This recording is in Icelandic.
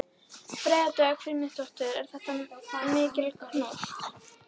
Freyja Dögg Frímannsdóttir: Er þetta mikil kúnst?